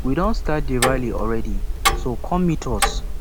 we don start the rally already so come meet us